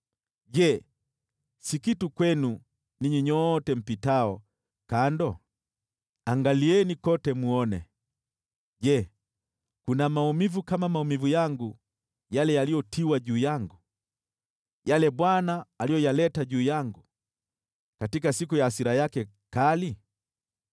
“Je, si kitu kwenu, ninyi nyote mpitao kando? Angalieni kote mwone. Je, kuna maumivu kama maumivu yangu yale yaliyotiwa juu yangu, yale Bwana aliyoyaleta juu yangu katika siku ya hasira yake kali?